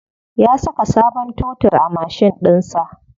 Ya saka sabon totur a mashin ɗinsa.